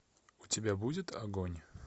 у тебя будет огонь